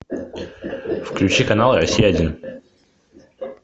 включи канал россия один